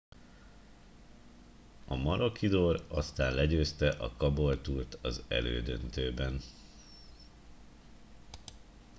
a maroochydore aztán legyőzte a caboolture t az elődöntőben